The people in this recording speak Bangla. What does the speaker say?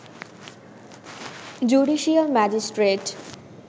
judicial magistrate